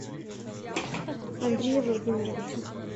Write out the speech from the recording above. андрея владимировича